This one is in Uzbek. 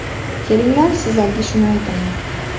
Kelinglar, sizlarga shuni aytaman.